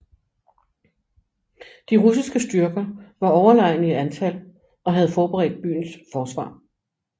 De russiske styrker var overlegne i antal og havde forberedt byens forsvar